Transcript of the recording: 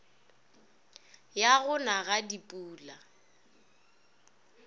ya go na ga dipula